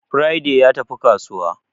Friday ya tafi kasuwa